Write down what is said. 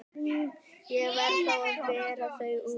Ég verð þá að bera þá út.